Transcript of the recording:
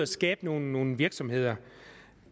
skabe nogle nogle virksomheder